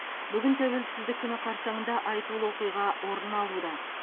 бүгін тәуелсіздік күні қарсаңында айтулы оқиға орын алуда